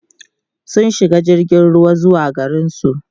sun shiga jirgin ruwa zuwa garinsu